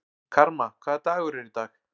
Karma, hvaða dagur er í dag?